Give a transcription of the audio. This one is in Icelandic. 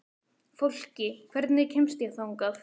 Fólki, hvernig kemst ég þangað?